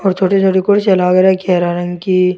और छोटी छोटी कुर्सियां लाग रखी हैं हरे रंग की।